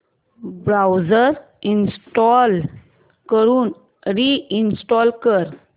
browser uninstall करून reinstall कर